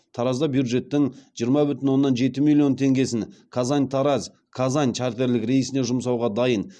таразда бюджеттің жиырма бүтін оннан жеті миллион теңгесін казань тараз казань чартерлік рейсіне жұмсауға дайын